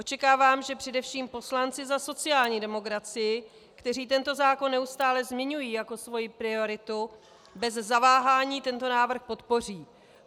Očekávám, že především poslanci za sociální demokracii, kteří tento zákon neustále zmiňují jako svoji prioritu, bez zaváhání tento návrh podpoří.